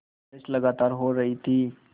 बारिश लगातार हो रही थी